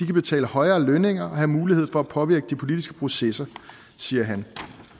betale højere lønninger og har mulighed for at påvirke de politiske processer det siger han